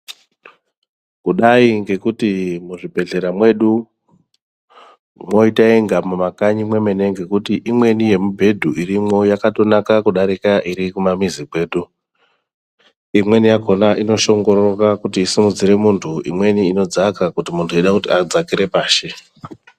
Kudai ngekuti muzvibhedhlera mwedu mwoita inge mumakanyi mwemene ngekuti imweni yemibhedhu irimwo yakatonaka kudarike iri kumamizi kwedu imweni yakona inoshongororwa kuti isimudzire muntu imweni inodzaka kuti muntu eida kuti adzakire pashi.